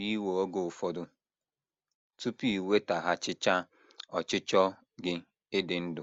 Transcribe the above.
Ọ pụrụ iwe oge ụfọdụ tupu i nwetaghachichaa ọchịchọ gị ịdị ndụ.